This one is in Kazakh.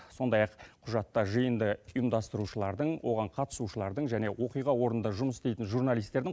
сондай ақ құжатта жиынды ұйымдастырушылардың оған қатысушылардың және оқиға орнында жұмыс істейтін журналистердің